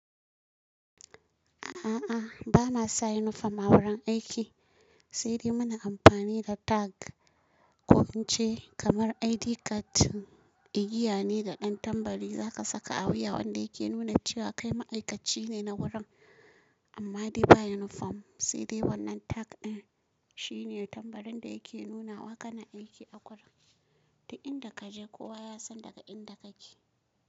A'a, bana sa yunifom a wurin aiki, sai dai muna amfani da tag ko ince kamar ID card, igiya ne da ɗan tambari za ka saka a wuya wanda yake nuna cewa kai ma'aikaci ne na wurin. Amma dai ba yunifom sai dai wannan tag ɗin shine tambarin da yake nuna wa kana aiki a gurin. Ta inda ka je kowa ya san daga inda kake.